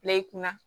Layi kunna